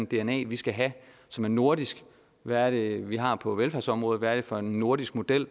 dna vi skal have som er nordisk hvad det er vi har på velfærdsområdet hvad det er for en nordisk model